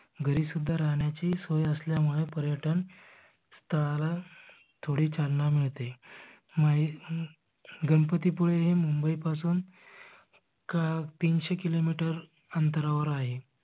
घरी सुद्धा राहण्याची सोय असल्यामुळे पर्यटन स्थळ थोडी चालना मिळते. हम्म गणपती पुळे हे मुंबई पासून तीनशे किलो मीटर अंतरावर आहे.